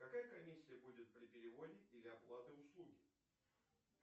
какая комиссия будет при переводе или оплаты услуги